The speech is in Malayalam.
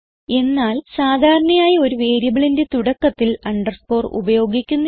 എന്നാൽ സാധാരണയായി ഒരു വേരിയബിളിന്റെ തുടക്കത്തിൽ അണ്ടർസ്കോർ ഉപയോഗിക്കുന്നില്ല